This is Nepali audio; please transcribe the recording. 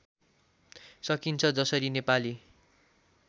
सकिन्छ जसरी नेपाली